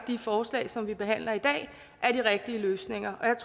de forslag som vi behandler i dag er de rigtige løsninger